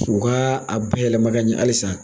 U ka a bayɛlɛma ka ɲɛ halisa.